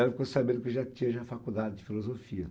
E ela ficou sabendo que eu já tinha a faculdade de filosofia.